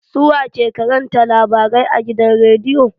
Su wa ke karanta labarai a gidan rediyo?